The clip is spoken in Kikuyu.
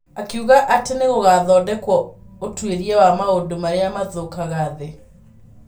Akiuga atĩ nĩ gũgathondekwo ũtuĩria wa maũndũ marĩa mathũkagia thĩ.